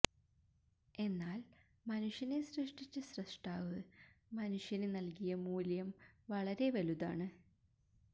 എന്നാൽ മനുഷ്യനെ സൃഷ്ടിച്ച സ്രഷ്ടാവ് മനുഷ്യന് നൽകിയ മൂല്യം വളരെ വലുതാണ്